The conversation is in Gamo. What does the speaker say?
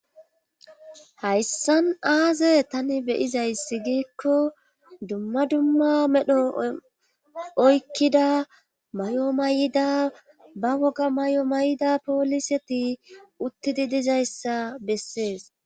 hayssan aaze tani be'izayssi giikko dumma dumma medho oykkida may'o may'ida ba woga may'o may'ida pooliseti uttidii dizayssa bessees